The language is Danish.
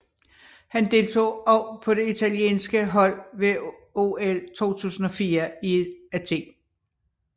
Han deltog også på det italienske hold ved OL 2004 i Athen